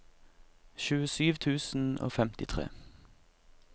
tjuesju tusen og femtitre